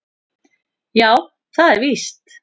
Já, það er víst